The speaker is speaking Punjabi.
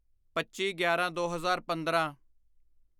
ਪੱਚੀਗਿਆਰਾਂਦੋ ਹਜ਼ਾਰ ਪੰਦਰਾਂ